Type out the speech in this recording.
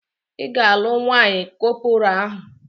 Ị ga-alụ nwaanyị kọpọraa ahụ!